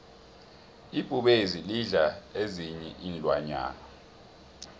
ibhubezi lidla ezinyei iinlwanyana